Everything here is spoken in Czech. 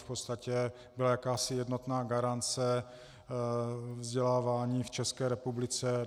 V podstatě byla jakási jednotná garance vzdělávání v České republice.